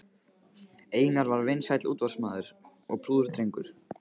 Einar var vinsæll útvarpsmaður og prúður drengur.